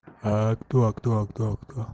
а кто а кто а кто а кто